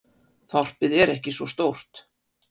Þorpið er ekki svo stórt.